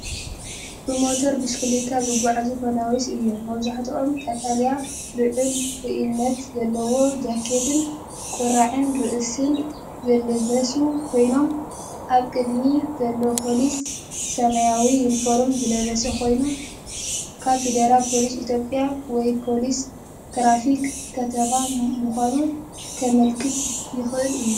ብሞተር ብሽክለታ ዝጓዓዙ ፖሊስ እዮም። መብዛሕትኦም ቀጠልያ ልዑል ርኡይነት ዘለዎ ጃኬትን ቁራዕ ርእሲን ዝለበሱ ኮይኖም፡ ኣብ ቅድሚት ዘሎ ፖሊስ ሰማያዊ ዩኒፎርም ዝለበሰ ኮይኑ፡ ካብ ፌደራል ፖሊስ ኢትዮጵያ ወይ ፖሊስ ትራፊክ ከተማ ምዃኑ ከመልክት ይኽእል እዩ።